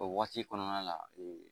O waati kɔnɔna la